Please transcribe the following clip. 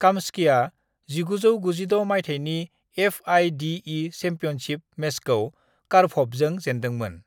काम्स्कीया 1996 माइथायनि FIDE. Championship मेचखौ कारपभजों जेनदोंमोन।